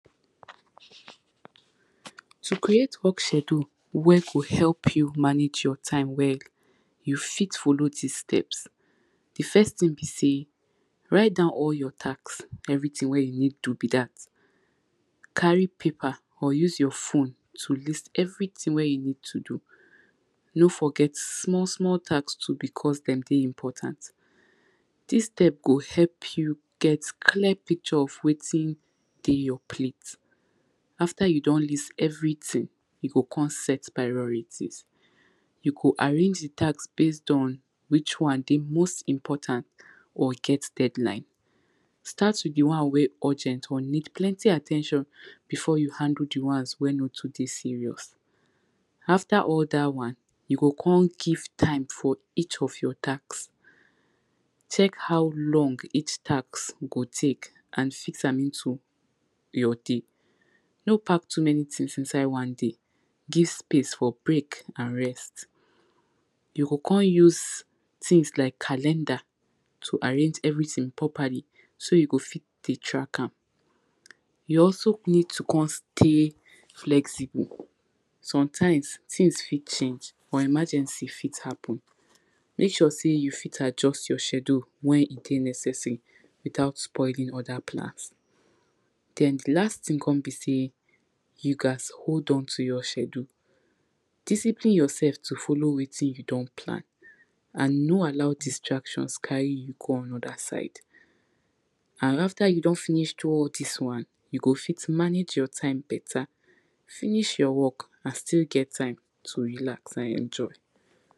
To create work schedule wen go help you manage your time well, you fit follow dis steps. Di first thing be sey, write down all your task, na everything wen you need do be dat. Carry paper or use your phone to list everything take list everything wen you need to do. No forget small small task too because dem dey important. Dis one go help you get clear picture of wetin dey your plate, after you don list everything, you go come set priority. You go arrange di plan based on which one dey most important or e get deadline. Start with di one wey urgent or need plenty at ten tion before you handle di ones wey nor too dey serious. After dat one you go come give time for each of your task. Check how long each task go take, and fix am into your day. No park too many things put inside one day, give time for break and rest. You go come use things like calendar to arrange everything properly, so you go fit dey track am. You also need to come stay flexible, sometimes things fit change, or emergency fit happen. Make sure sey you fit adjust your schedule wen e dey necessary without spoiling other plans. Den di last thing come be sey, you gats hold on to your schedule, discipline yourself to follow wetin you don plan and no allow distractions carry you go another side. And after you don do all dis one, you go fit manage your time better, finish your work and still get time to relax and enjoy.